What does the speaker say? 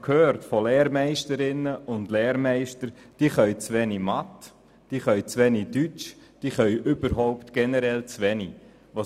Dabei habe ich von Lehrmeisterinnen und Lehrmeistern gehört, dass die Lernenden zu wenig Wissen in Mathematik und Deutsch haben und generell zu wenig können.